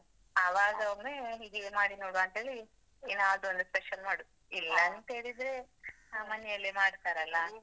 ಆವಾಗ ಒಮ್ಮೆ ಹೀಗೆಯೆ ಮಾಡಿ ನೋಡುವಂತ ಹೇಳಿ ಏನಾದ್ರು ಒಂದು special ಮಾಡುದು ಇಲ್ಲಾಂತ ಹೇಳಿದ್ರೆ, ಮನೆಯಲ್ಲೇ ಮಾಡ್ತಾರಲ್ಲಾ?